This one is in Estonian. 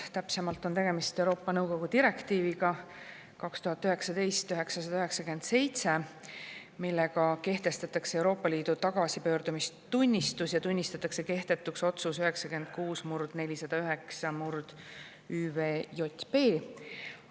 Täpsemalt on tegemist Euroopa Nõukogu direktiiviga 2019/997, millega kehtestatakse Euroopa Liidu tagasipöördumistunnistus ja tunnistatakse kehtetuks otsus 96/409/ÜVJP.